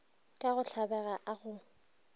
ka go tlabega a go